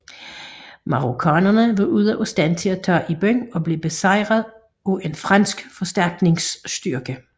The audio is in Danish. Marokkanere var ude af stand til at tage i byen og blev besejrede af en fransk forstærkningsstyrke